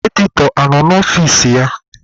Editọ a nọ n'ọfici ya?